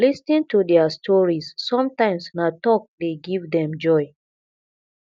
lis ten to their stories sometimes na talk dey give dem joy